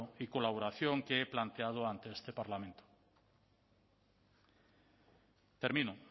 y colaboración que he planteado ante este parlamento termino